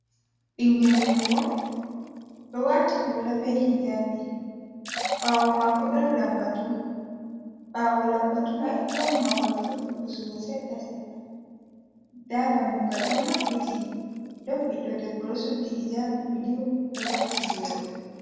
Ɓingel debbo ɗo wati hula be hijabi, ɓawo mako ɗon lambatu. Ɓawo lambatu mai don mahol fuɗɗi pusugo seɗɗa seɗɗa. Nda dammugal ɗo maɓbiti. Ɗon ɓiɗɗo debbo ɗo suddi hijabi bulu, ɗo vakki boro.